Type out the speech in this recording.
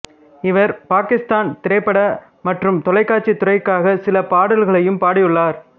இவர் பாகிஸ்தான் திரைப்பட மற்றும் தொலைக்காட்சி துறைக்காக சில பாடல்களையும் பாடியுள்ளார்